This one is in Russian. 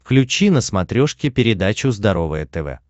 включи на смотрешке передачу здоровое тв